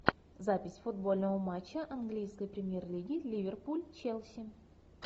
запись футбольного матча английской премьер лиги ливерпуль челси